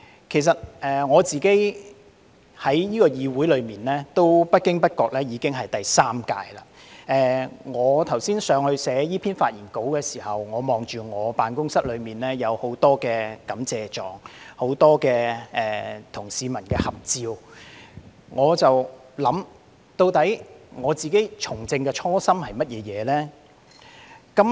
其實我在這個議會出任議員不經不覺已經是第三屆，我剛才在樓上撰寫這篇發言稿時，我看着我的辦公室內有很多感謝狀、很多與市民的合照，我便在想，究竟我自己從政的初心是甚麼？